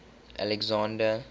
alexander